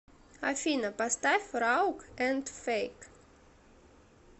афина поставь раук энд фейк